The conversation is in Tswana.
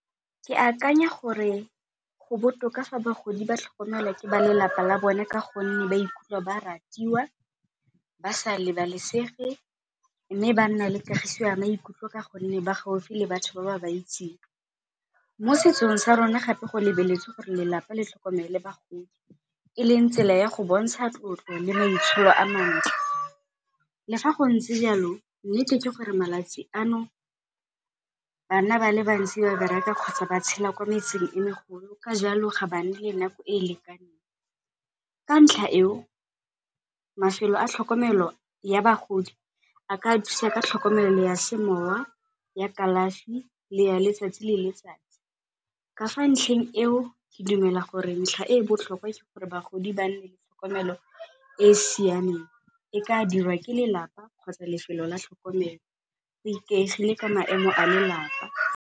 Ke akanya gore go botoka fa bagodi ba tlhokomelwa ke ba lelapa la bone ka gonne ba ikutlwa ba ratiwa, ba sa lebalesege mme ba nna le kagiso ya maikutlwa ka gonne ba gaufi le batho ba ba baitseng. Mo setsong sa rona gape go lebeletswe gore lelapa le tlhokomele bagodi, eleng tsela ya go bontsha tlotlo le maitsholo a mantle. Le fa go ntse jalo nnete ke gore malatsi ano bana ba le bantsi ba bereka kgotsa ba tshela kwa metseng e megolo ka jalo ga ba nne le nako e lekaneng. Ka ntlha eo mafelo a tlhokomelo ya bagodi a ka thusa ka tlhokomelo ya semowa, ya kalafi le ya letsatsi le letsatsi. Ka fa ntlheng eo ke dumela gore ntlha e botlhokwa ke gore bagodi ba tlhokomelo e siameng, e ka dirwa ke lelapa kgotsa lefelo la tlhokomelo go ikaegile ka maemo a lelapa.